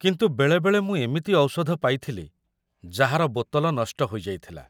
କିନ୍ତୁ ବେଳେବେଳେ ମୁଁ ଏମିତି ଔଷଧ ପାଇଥିଲି ଯାହାର ବୋତଲ ନଷ୍ଟ ହୋଇଯାଇଥିଲା।